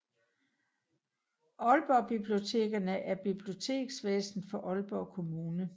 Aalborg Bibliotekerne er biblioteksvæsenet for Aalborg Kommune